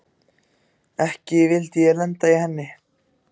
Ekki vildi ég lenda í henni!